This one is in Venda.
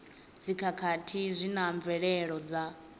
dzikhakhathi zwi na mvelelo dza